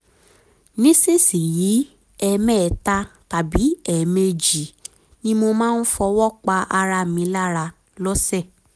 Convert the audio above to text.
nísinsìnyí ẹ̀ẹ̀mẹta tàbí ẹ̀ẹ̀méjì ni mo máa ń fọwọ́ pa ara mi lára lọ́sẹ̀